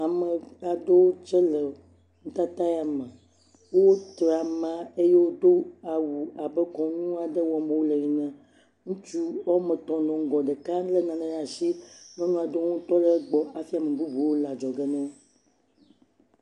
Ame aɖewo tse le nutata ya me, wotra ama eye wodo awu abe kɔnu aɖe wɔm wole ene, ŋutsu woame etɔ̃ nɔ ŋgɔ ɖeka lé nane le asi, nyɔnu aɖewo hã tɔ le egbɔ hafi ame bubuwo le adzɔge na wo.